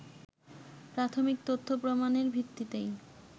প্রাথমিক তথ্য প্রমাণের ভিত্তিতেই